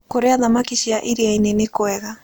Kũrĩa thamakĩ cia ĩrĩaĩnĩ nĩkwega